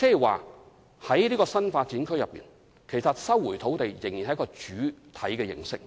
換言之，就新發展區而言，政府收回土地仍然是主體模式。